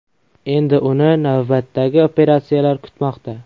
Endi uni navbatdagi operatsiyalar kutmoqda.